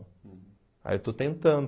Aí eu estou tentando.